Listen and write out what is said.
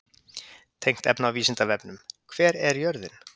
Tengt efni á Vísindavefnum: Hver er jörðin?